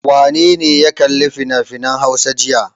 Wane ne ya kalli finafinan Hausa jiya?